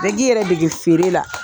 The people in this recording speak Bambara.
Bɛɛ k'i yɛrɛ dege feere la